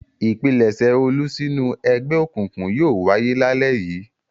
Ìpilẹ̀ṣẹ̀ Olú sínú ẹgbẹ́ òkùnkùn yóò wáyé lálẹ́ yìí.